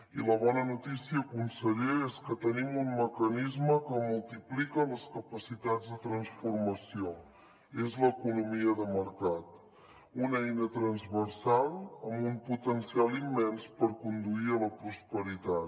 i la bona notícia conseller és que tenim un mecanisme que multiplica les capacitats de transformació és l’economia de mercat una eina transversal amb un potencial immens per conduir a la prosperitat